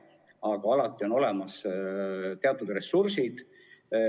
Aga alati on olemas teatud ressursid.